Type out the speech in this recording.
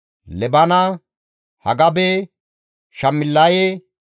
Baqibuqe, Haqufa, Harihure,